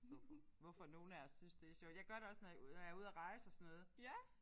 Hvorfor hvorfor nogle af os synes det er sjovt. Jeg gør det også når jeg når jeg er ude at rejse og sådan noget